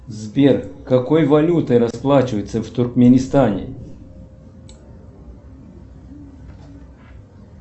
сбер какой валютой расплачиваются в туркменистане